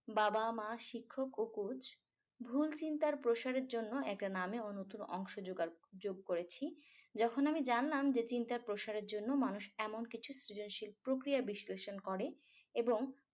বাবা মা শিক্ষক ও coach ভুল চিন্তার প্রসারের জন্য একটা নামে অংশ জোগাড় যোগ করেছি যখন আমি জানলাম যে চিন্তার প্রসারের জন্য মানুষ এমন কিছু সৃজনশীল প্রক্রিয়া বিশ্লেষণ করে এবং